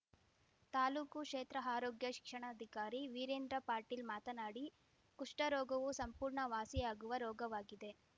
ತಾಲೂಕು ಕ್ಷೇತ್ರಆರೋಗ್ಯ ಶಿಕ್ಷಣಾಧಿಕಾರಿ ವೀರೇಂದ್ರ ಪಾಟೀಲ್‌ ಮಾತನಾಡಿ ಕುಷ್ಠರೋಗವು ಸಂಪೂರ್ಣ ವಾಸಿಯಾಗುವ ರೋಗವಾಗಿದೆ